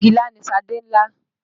Pọ́ngilá ni Ṣadé ń là.